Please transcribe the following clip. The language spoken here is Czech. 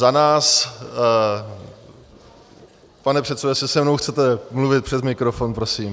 Za nás - pane předsedo, jestli se mnou chcete mluvit, přes mikrofon prosím!